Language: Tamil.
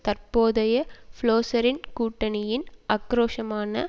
தற்போதைய ப்ளோச்சரின் கூட்டணியின் ஆக்கிரோஷமான